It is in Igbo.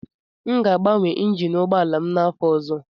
M ga-agbanwe Injin ụgbọ ala a n'afọ ọzọ